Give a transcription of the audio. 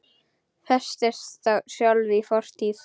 Festist þá sjálf í fortíð.